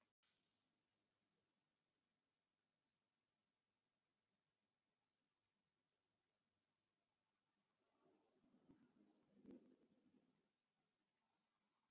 æpti hún svo hann fékk hálfgerða hellu fyrir eyrun.